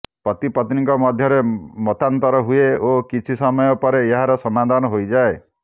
ପତିପତ୍ନୀଙ୍କ ମଧ୍ୟରେ ମତାନ୍ତର ହୁଏ ଓ କିଛି ସମୟ ପରେ ଏହାର ସମାଧାନ ହୋଇଯାଏ